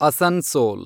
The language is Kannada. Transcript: ಅಸನ್ಸೋಲ್